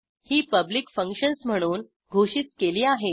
ही public functions म्हणून घोषित केली आहेत